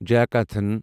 جیاکاتھن